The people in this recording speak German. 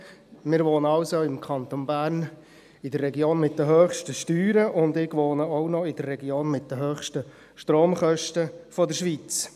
Wir wohnen im Kanton Bern in der Region mit den höchsten Steuern, und ich wohne zudem noch in der Region mit den höchsten Stromkosten der Schweiz.